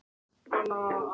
Hann ætti að vita það.